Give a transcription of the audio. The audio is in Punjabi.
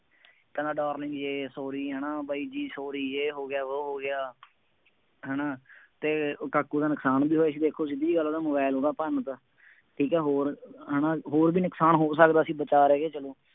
ਕਹਿੰਦਾ darling ਯੇਹ sorry ਹੈ ਨਾ, ਬਾਈ ਜੀ sorry, ਯੇਹ ਹੋ ਗਿਆ, ਵੋਹ ਹੋ ਗਿਆ, ਹੈ ਨਾ ਅਤੇ ਉਹ ਕਾਕੂ ਦਾ ਨੁਕਸਾਨ ਵੀ ਹੋਇਆ ਸੀ ਦੇਖੋ ਸਿੱਧੀ ਗੱਲ ਆ ਉਹਦਾ ਮੋਬਾਇਲ ਉਹਦਾ ਭੰਨਤਾ, ਠੀਕ ਹੈ ਹੋਰ, ਹੈ ਨਾ, ਹੋਰ ਵੀ ਨੁਕਸਾਨ ਹੋ ਸਕਦਾ ਸੀ, ਬਚਾ ਰਹਿ ਗਿਆ ।